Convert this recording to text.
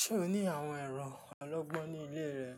Ṣé o ní àwọn ẹ̀rọ ọlọ́gbọ́n ní ilé rẹ?